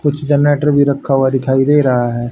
कुछ जनरेटर भी रखा हुआ दिखाई दे रहा है।